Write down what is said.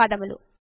ధన్యవాదములు